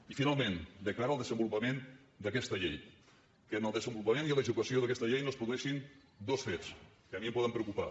i finalment de cara al desenvolupament d’aquesta llei que en el desenvolupament i l’execució d’aquesta llei no es produeixin dos fets que a mi em poden preocupar